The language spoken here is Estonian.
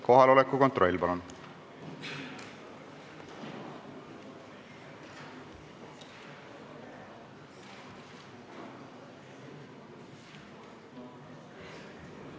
Kohaloleku kontroll, palun!